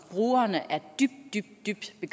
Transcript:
vi